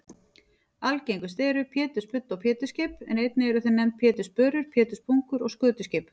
Algengust eru pétursbudda og pétursskip en einnig eru þau nefnd pétursbörur, péturspungur og skötuskip.